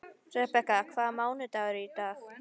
Rebekka, hvaða mánaðardagur er í dag?